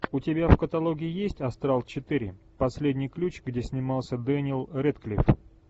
у тебя в каталоге есть астрал четыре последний ключ где снимался дэниел рэдклифф